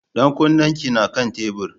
Ɗan kunnen ki na kan tebur.